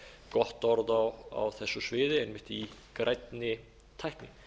gott orð á þessu sviði einmitt í grænni tækni